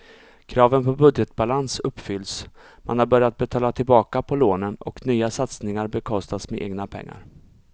Kraven på budgetbalans uppfylls, man har börjat betala tillbaka på lånen och nya satsningar bekostas med egna pengar.